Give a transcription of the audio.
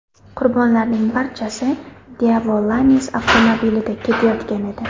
Qurbonlarning barchasi Daewoo Lanos avtomobilida ketayotgan edi.